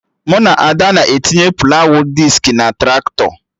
Mụ na Ada na-etinye plawụ diski na Traktọ